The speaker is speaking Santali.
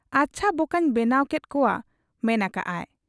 ᱟᱪᱷᱟ ᱵᱚᱠᱟᱹᱧ ᱵᱮᱱᱟᱣ ᱠᱮᱫ ᱠᱚᱣᱟᱭ ᱢᱮᱱ ᱟᱠᱟᱜ ᱟ ᱾